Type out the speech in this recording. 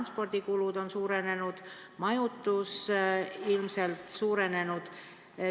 Selle tõttu on transpordi- ja majutuskulud ilmselt suurenenud.